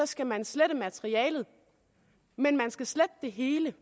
skal man slette materialet men man skal slette det hele